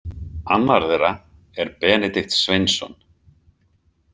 Annar þeirra er Benedikt Sveinsson.